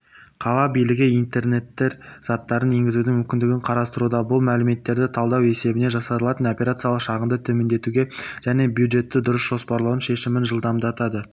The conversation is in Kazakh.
қала билігі интернет заттарын енгізудің мүмкіндігін қарастыруда бұл мәліметтерді талдау есебінен жасалатын операциялық шығынды төмендетуге және бюджетті дұрыс жоспарлаудың шешімін жылдамдатады